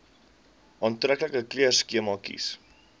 aantreklike kleurskema kies